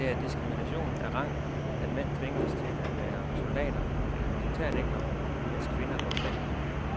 Det er diskrimination af rang, at mænd tvinges til at være soldater eller militærnægtere, mens kvinder går fri.